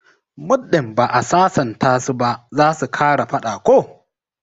Muddin ba'a sasanta su ba zasu kara fada ko?